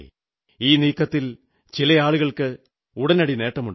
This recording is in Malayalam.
ഈ നീക്കത്തിൽ ചില ആളുകൾക്ക് ഉടനടി നേട്ടമുണ്ടായി